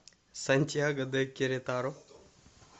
сантьяго де керетаро